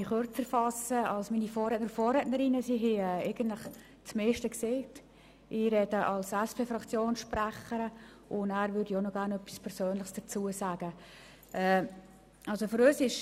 Ich spreche als Fraktionssprecherin der SP-JUSO-PSA-Fraktion und sage dann auch noch gerne etwas Persönliches zu diesem Geschäft.